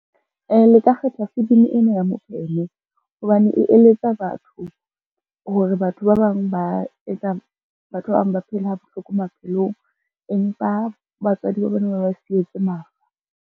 Le ka kgetha filimi ena ya Mopheme hobane e eletsa batho, hore batho ba bang ba etsa batho ba bang ba phele ha bohloko maphelong, empa batswadi ba bona ba ba sietse mafa.